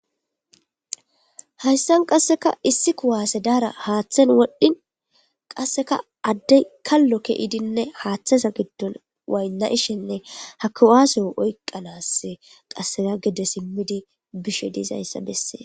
Haysan qaseka issi kuwase dara hathe wodhin qaseka adey kalo ke'idinne hathzan gidon wayn'ishenne ha kuwaseyo oykana ha gede simidi bishe des